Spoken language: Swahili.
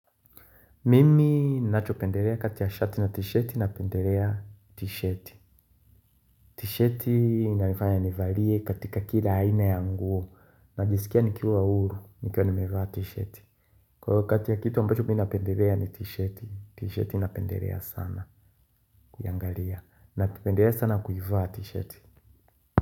Mimi ninachopendelea kati ya shati na tishati na pendelea tishati. Tishati inanifanya nivalie katika kila aina ya nguo. Najisikia nikiwa huru, nikiwa nimevaa tishati kwa hio kitu ambacho mimi napendelea ni tishati, tishati napendelea sana kuiangalia nakipendelea sana kuivaa tisheti.